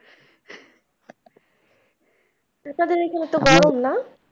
পিশাদের এইখানে তো গরম না?